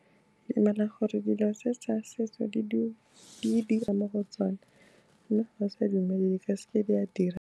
Ke dumela gore dilo tse sa setso, di dira mo go tsona, mme ga o sa dumele di ka seke di a dira.